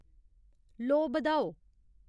लोऽ बधाओ